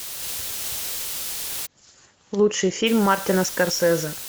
лучший фильм мартина скорсезе